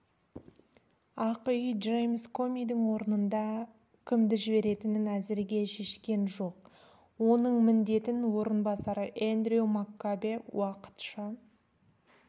ақ үй джеймс комидің орнына кімді жіберетінін әзірге шешкен жоқ оның міндетін орынбасары эндрю маккабе уақытша